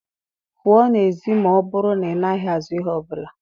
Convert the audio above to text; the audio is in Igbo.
pụọ n'èzí ma ọ bụrụ na ị naghị azụ ihe ọ bụla.